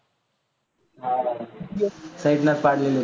side ला चं पाडलेलं होतं.